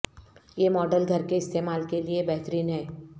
یہ ماڈل گھر کے استعمال کے لئے بہترین ہے